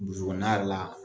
Kɔnɔna yɛrɛ la